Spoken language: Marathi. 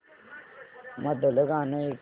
मधलं गाणं ऐकव